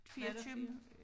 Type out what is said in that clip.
Var der 4?